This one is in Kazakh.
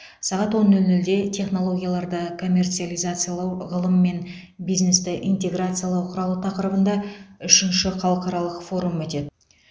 сағат он нөл нөлде технологияларды коммерциализациялау ғылым мен бизнесті интеграциялау құралы тақырыбында үшінші халықаралық форум өтеді